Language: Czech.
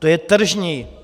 To je tržní.